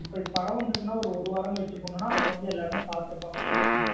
இப்பா ஒரு படம் வந்த்றுகுன்னா ஒரு வாரம்கழிச்சு தான் போனோனா அப்ப எல்லாமே பாத்திருப்பாங்க maximum.